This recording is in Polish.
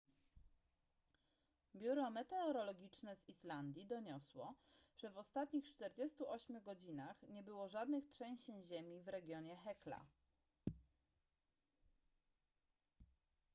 biuro meteorologiczne z islandii doniosło że w ostatnich 48 godzinach nie było żadnych trzęsień ziemi w regionie hekla